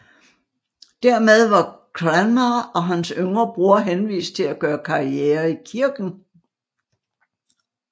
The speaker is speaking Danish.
Dermed var Cranmer og hans yngre bror henvist til at gøre karriere i kirken